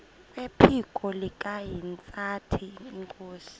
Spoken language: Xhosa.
kwephiko likahintsathi inkosi